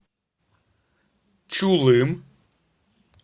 чулым